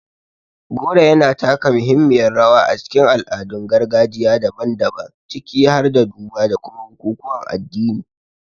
Goro yana taka rawa a cikin al'adun gargajiya daban-daban, ciki har da duba da kuma bukukuwan addini.